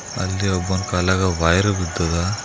ಅಲ್ಲಿ ಒಬ್ಬನ್ ಕಾಲಾಗ ವಯರ್ ಬಿದ್ದದ.